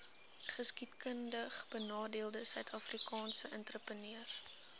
geskiedkundigbenadeelde suidafrikaanse entrepreneurs